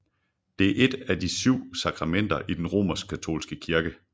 Det er et af de syv sakramenter i den romerskkatolske kirke